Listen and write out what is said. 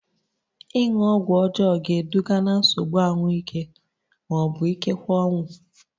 Ịṅụ ọgwụ ọjọọ ga-eduga ná nsogbu ahụike ma ọ bụ ikekwe ọnwụ